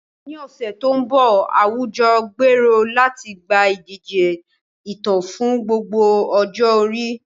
Ní ọ̀sẹ̀ tó ń bọ̀, àwùjọ gbèrò láti gba ìdíje ìtàn fún gbogbo ọjọ́ orí.